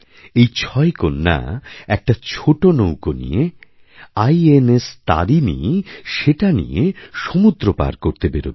এই ছয় কন্যা একটা ছোট নৌকো নিয়ে আইএনএসতারিণী সেটা নিয়ে সমুদ্র পার করতে বেরোবে